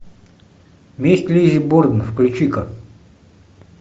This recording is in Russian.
месть лиззи борден включи ка